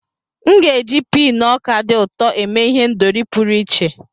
M ga-eji pii na ọka dị ụtọ eme ihendori pụrụ iche.